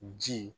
Ji